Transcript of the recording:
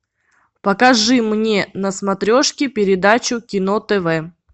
покажи мне на смотрешке передачу кино тв